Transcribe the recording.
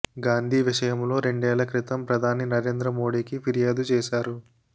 గాంధీ విషయంలో రెండేళ్ల క్రితం ప్రధాని నరేంద్ర మోడీకి ఫిర్యాదు చేశారు